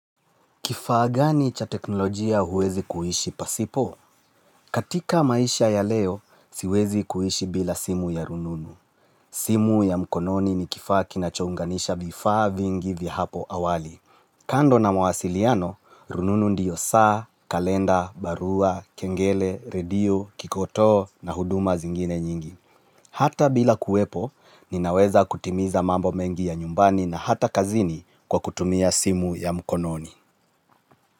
Kifaa gani cha teknolojia huwezi kuhishi pasipo? Katika maisha ya leo, siwezi kuhishi bila simu ya rununu. Simu ya mkononi ni kifaa kinachounganisha vifaa vingi vihapo awali. Kando na mawasiliano, rununu ndiyo saa, kalenda, barua, kengele, radio, kikotoo na huduma zingine nyingi. Hata bila kuwepo, ninaweza kutimiza mambo mengi ya nyumbani na hata kazini kwa kutumia simu ya mkononi.